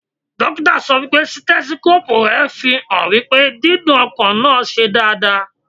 Dókítà sọ wípé Sítẹ́síkópù rẹ̀ fi hàn wípé dídún ọkàn náà ṣe dáadáa.